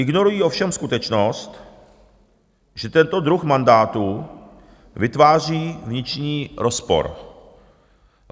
Ignorují ovšem skutečnost, že tento druh mandátu vytváří vnitřní rozpor.